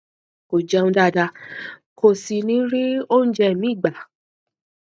kò jẹun dáadáa kò sì ní rí oúnjẹ míì gbà